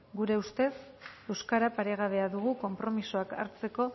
gure ustez euskara paregabea dugu konpromisoak hartzeko